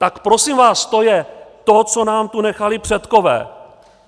Tak prosím vás, to je to, co nám tu nechali předkové.